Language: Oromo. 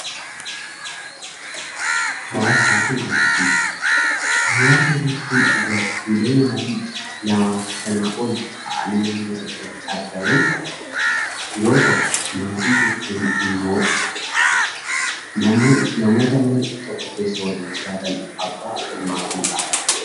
Hawaasa jechuun gartuulee maatii lamaa fi sanaa ol ta'anii naannoo tokkotti argaman yoo ta'u, maatii jechuun immoo namoota mana tokko keessa waliin jiraatan: abbaa, haadha fi ijoollee ta'u.